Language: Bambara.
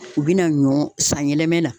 U bena ɲɔ san yɛlɛmɛ na